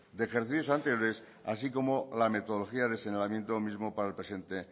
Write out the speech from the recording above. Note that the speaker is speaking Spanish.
de ejercicios anteriores así como la metodología de señalamiento mismo para el presente